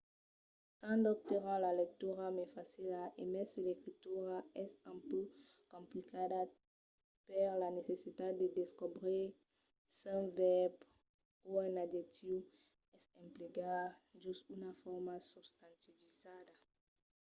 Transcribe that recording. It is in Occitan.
sens dobte rend la lectura mai facila e mai se l'escritura es un pauc complicada per la necessitat de descobrir s’un vèrb o un adjectiu es emplegat jos una forma substantivizada